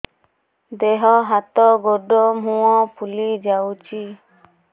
ଦେହ ହାତ ଗୋଡୋ ମୁହଁ ଫୁଲି ଯାଉଛି